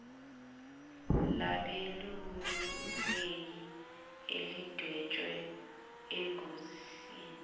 labeluleki elidwetshwe engosini